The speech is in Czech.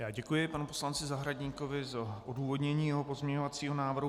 Já děkuji panu poslanci Zahradníkovi za odůvodnění jeho pozměňovacího návrhu.